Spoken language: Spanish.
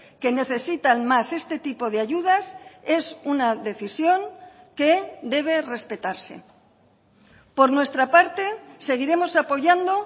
que necesitan más este tipo de ayudas es una decisión que debe respetarse por nuestra parte seguiremos apoyando